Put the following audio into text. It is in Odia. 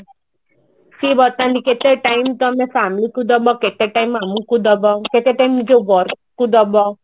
ସେ ବତାନ୍ତି କେତେ time ତମେ କାମ କୁ ଦେବ କେତେ time ଆମକୁ ଦେବ ଗୋଟେ ଟାଇମ ଯୋଉ ଘରକୁ ଦବ